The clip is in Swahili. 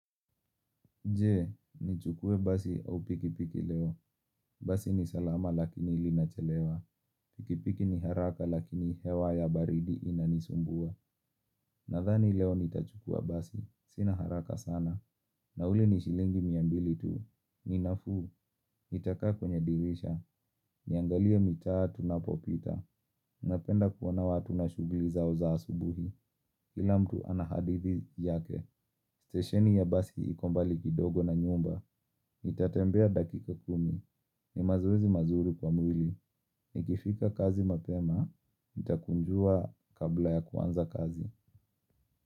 Je, nichukue basi au pikipiki leo? Basi ni salama lakini linachelewa. Pikipiki ni haraka lakini hewa ya baridi inanisumbua. Nadhani leo nitachukua basi. Sina haraka sana. Na ule ni shilingi mia mbili tu. Ni nafuu, nitakaa kwenye dirisha. Niangalie mitaa tunapopita. Napenda kuona watu na shughuli zao za asubuhi. Kila mtu ana hadithi yake. Stesheni ya basi iko mbali kidogo na nyumba. Nitatembea dakika kumi. Ni mazoezi mazuri kwa mwili. Nikifika kazi mapema, nitakunjua kabla ya kuanza kazi.